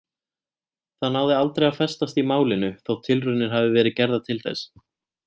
Það náði aldrei að festast í málinu þótt tilraunir hafi verið gerðar til þess.